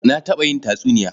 Na taɓa yin tatsuniya.